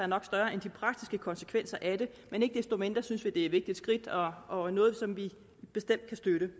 nok større end de praktiske konsekvenser af det men ikke desto mindre synes vi at er et vigtigt skridt og og noget som vi bestemt kan støtte